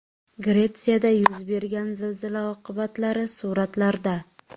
Gretsiyada yuz bergan zilzila oqibatlari suratlarda.